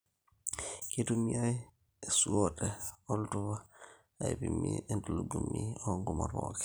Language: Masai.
Keitumiai esuote oltupa aipimie entulugumi oongumot pookin